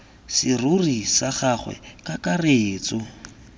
serori sa gagwe ka kakaretso